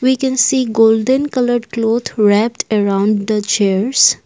We can see golden coloured cloth wrapped around the chairs